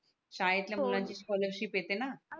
शाळेतल्या हो मुलांची ती स्कॉलरशिप येते णा